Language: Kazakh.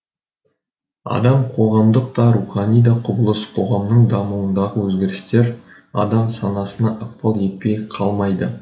адам қоғамдық та рухани да құбылыс қоғамның дамуындағы өзгерістер адам санасына ықпал етпей қалмайды